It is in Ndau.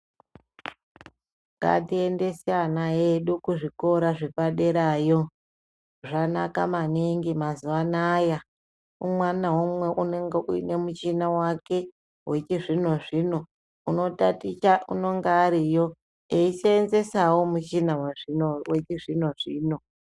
Ngatiendese ana edu kuzvikora zvepaderayo. Zvanaka maningi mazuva anaya. Mwana umwe ngaumwe unenge ane muchini wake wechizvino-zvino. Unotaticha, unonga ariyo eiseenzesawo muchina wake wechizvino-zvino.